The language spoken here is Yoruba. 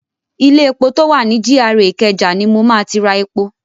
Ilé epo tó wà ni GRA Ìkẹjà ni mo ma ti ra epo.